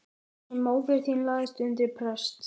Þar sem móðir þín lagðist undir prest.